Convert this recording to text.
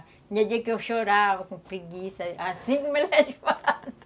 Tinha dia que eu chorava com preguiça, assim como elas fazem.